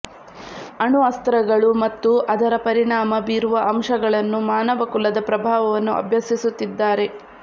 ಅಣುಅಸ್ತ್ರಗಳು ಮತ್ತು ಅದರ ಪರಿಣಾಮ ಬೀರುವ ಅಂಶಗಳನ್ನು ಮಾನವಕುಲದ ಪ್ರಭಾವವನ್ನು ಅಭ್ಯಸಿಸುತ್ತಿದ್ದಾರೆ